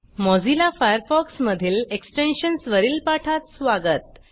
Mozilla Firefox मधील extensions वरील पाठात स्वागत